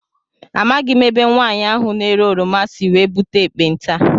Amaghị m ebe nwaanyị ahụ na -ere oroma sị wee búte ekpenta.